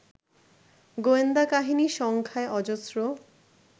গোয়েন্দাকাহিনী সংখ্যায় অজস্র